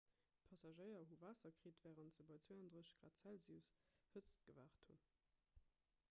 d'passagéier hu waasser kritt wärend se bei 32 °c hëtzt gewaart hunn